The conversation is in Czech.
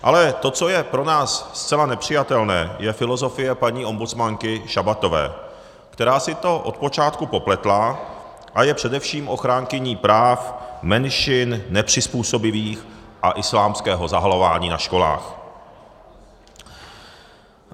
Ale to, co je pro nás zcela nepřijatelné, je filozofie paní ombudsmanky Šabatové, která si to od počátku popletla a je především ochránkyní práv menšin, nepřizpůsobivých a islámského zahalování na školách.